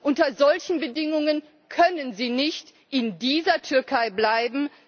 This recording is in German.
Unter solchen Bedingungen können sie nicht in dieser Türkei bleiben.